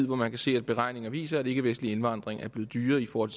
hvor man kan se at beregninger viser at ikkevestlig indvandring er blevet dyrere i forhold